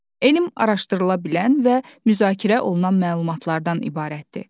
Elm araşdırıla bilən və müzakirə olunan məlumatlardan ibarətdir.